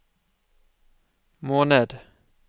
måned